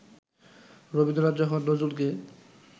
রবীন্দ্রনাথ যখন নজরুলকে